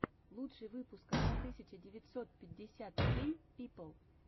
лучший выпуск одна тысяча девятьсот пятьдесят семь пипл